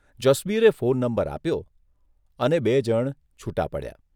જસબીરે phone number આપ્યો અને બે જણ છૂટા પડ્યા.